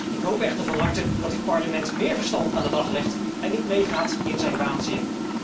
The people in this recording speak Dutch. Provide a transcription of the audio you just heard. Ik hoop echter van harte dat dit Parlement méér verstand aan de dag legt en niet meegaat in zijn waanzin.